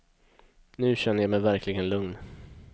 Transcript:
Nu känner jag mig verkligen lugn.